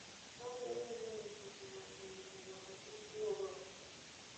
Taonde mang'eny osetemo chuno ji mondo kik wuog oko.